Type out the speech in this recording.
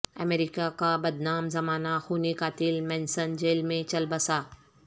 امریکہ کا بدنام زمانہ خونی قاتل مینسن جیل میں چل بسا